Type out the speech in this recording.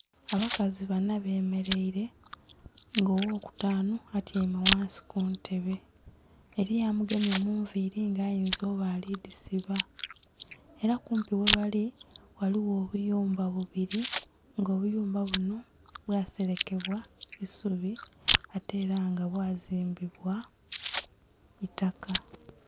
Abakazi banna bemereire nga ogho kutanhu atyaime ghansi kuntebe eriyo amugemye mu nviri nga ayinza okuba ali dhisiba era kumpi ghe bali ghaligho obuyumba bubiri nga obuyumba bunho bwa serekebwa isubi ate era nga bwa zimbibwa itaka.